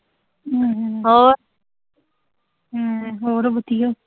ਹਮ ਹੋਰ ਵਧੀਆ।